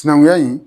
Sinankunya in